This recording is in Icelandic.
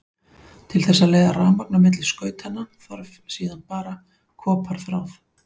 Til þess að leiða rafmagn á milli skautanna þarf síðan bara koparþráð.